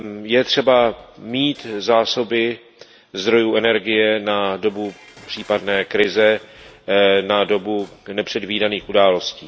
Je třeba mít zásoby zdrojů energie na dobu případné krize, na dobu nepředvídaných událostí.